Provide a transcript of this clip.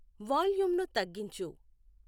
వాల్యూంను తగ్గించు